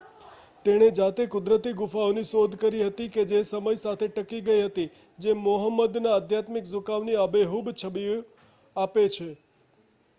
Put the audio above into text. તેણે જાતે કુદરતી ગુફાઓની શોધ કરી હતી કે જે સમય સાથે ટકી ગઈ હતી જે મોહમ્મદના આધ્યાત્મિક ઝુકાવની આબેહૂબ છબી આપે છે